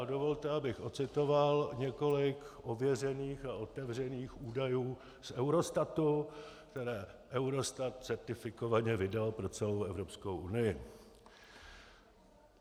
A dovolte, abych ocitoval několik ověřených a otevřených údajů z Eurostatu, které Eurostat certifikovaně vydal pro celou Evropskou unii.